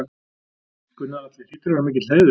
Gunnar Atli: Hlýtur að vera mikill heiður?